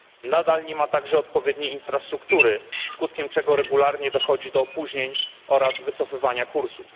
Nadal nie ma także odpowiedniej infrastruktury, skutkiem czego regularnie dochodzi do opóźnień oraz wycofywania kursów.